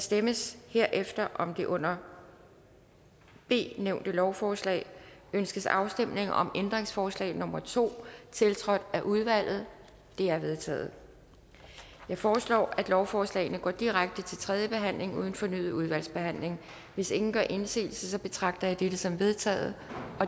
stemmes herefter om det under b nævnte lovforslag ønskes afstemning om ændringsforslag nummer to tiltrådt af udvalget det er vedtaget jeg foreslår at lovforslagene går direkte til tredje behandling uden fornyet udvalgsbehandling hvis ingen gør indsigelse betragter jeg dette som vedtaget